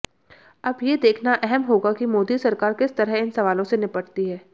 अब ये देखना अहम होगा कि मोदी सरकार किस तरह इन सवालों से निपटती है